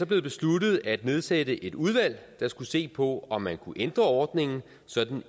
blevet besluttet at nedsætte et udvalg der skulle se på om man kunne ændre ordningen sådan